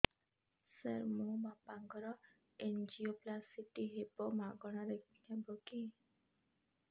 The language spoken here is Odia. ସାର ମୋର ବାପାଙ୍କର ଏନଜିଓପ୍ଳାସଟି ହେବ ମାଗଣା ରେ ହେବ କି